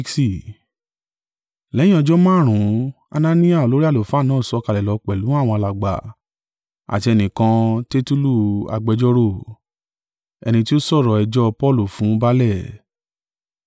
Lẹ́yìn ọjọ́ márùn-ún Anania olórí àlùfáà náà sọ̀kalẹ̀ lọ pẹ̀lú àwọn alàgbà àti ẹnìkan, Tertulu agbẹjọ́rò, ẹni tí ó sọ̀rọ̀ ẹjọ́ Paulu fún baálẹ̀.